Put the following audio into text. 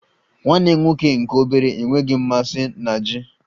Nwanne m nwoke nke obere enweghị mmasị na Ji